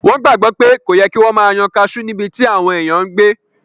Wọ́n gbàgbọ́ pé kò yẹ kí wọ́n máa yan kaasú níbití àwọn èèyàn n gbé